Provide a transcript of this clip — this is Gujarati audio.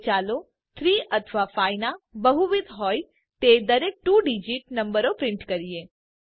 હવે ચાલો 3 અથવા 5 ના બહુવિધ હોય તે દરેક 2 ડીજીટ નંબરોને પ્રિન્ટ કરીએ